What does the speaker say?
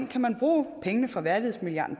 kan bruge pengene fra værdighedsmilliarden